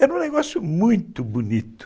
Era um negócio muito bonito.